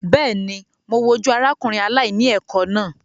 Bẹ́ẹ̀ ni, mo wojú arákùnrin aláìní ẹ̀kọ́ náà.